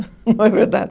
Não é verdade?